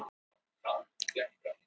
Eru þær vinkonur?